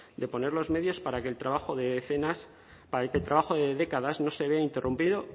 de poner los medios para que el trabajo de décadas no se vea interrumpido